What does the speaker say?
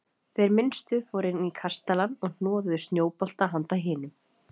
Þeir minnstu fóru inn í kastalann og hnoðuðu snjóbolta handa hinum.